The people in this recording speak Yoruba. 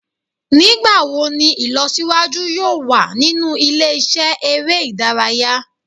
Nigbawo ni ilọsiwaju yoo wa ninu ile-iṣẹ ere idaraya?